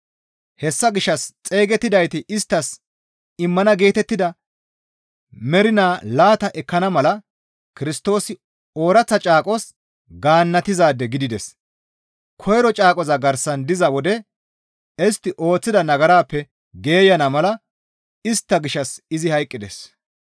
Hessa gishshas xeygettidayti isttas immana geetettida mernaa laata ekkana mala Kirstoosi ooraththa caaqos gaannatizaade gidides; koyro caaqoza garsan diza wode istti ooththida nagarappe geeyana mala istta gishshas izi hayqqides.